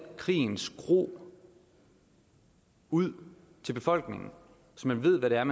krigens gru ud til befolkningen så man ved hvad det er